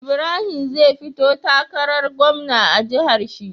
Ibrahim zai fito takarar gwamna a jahar shi